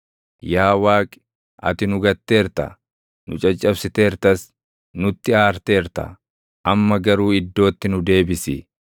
Yaa Waaqi, ati nu gatteerta; nu caccabsiteertas; nutti aarteerta; amma garuu iddootti nu deebisi!